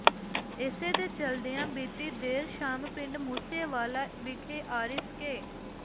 ਇਸੇ ਦੇ ਚੱਲਦਿਆ ਬੀਤੀ ਦੇਰ ਸ਼ਾਮ ਪਿੰਡ ਮੂਸੇ ਵਾਲਾ ਵਿਖੇ ਆਰਿਫ ਕੇ